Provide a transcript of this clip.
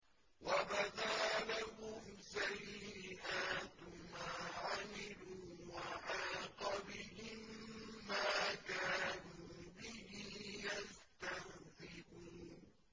وَبَدَا لَهُمْ سَيِّئَاتُ مَا عَمِلُوا وَحَاقَ بِهِم مَّا كَانُوا بِهِ يَسْتَهْزِئُونَ